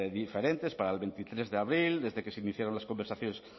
diferentes para el veintitrés de abril desde que se iniciaron las conversaciones